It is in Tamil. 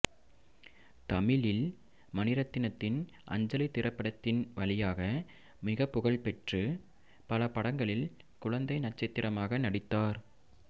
தமிழில் மணிரத்னத்தின் அஞ்சலி திரைப்படத்தின் வழியாக மிகப்புகழ் பெற்று பல படங்களில் குழந்தை நட்சத்திரமாக நடித்தார்